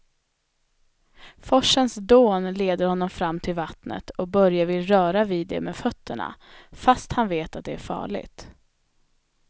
Forsens dån leder honom fram till vattnet och Börje vill röra vid det med fötterna, fast han vet att det är farligt.